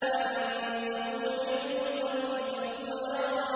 أَعِندَهُ عِلْمُ الْغَيْبِ فَهُوَ يَرَىٰ